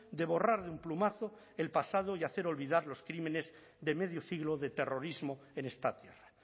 de borrar de un plumazo el pasado y hacer olvidar los crímenes de medio siglo de terrorismo en esta tierra